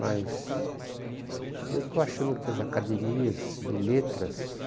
Mas eu estou achando que as academias de letras...